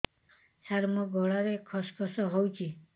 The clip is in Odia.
ସାର ମୋ ଗଳାରେ ଖସ ଖସ ହଉଚି